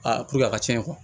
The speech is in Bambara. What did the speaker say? puruke a ka cɛn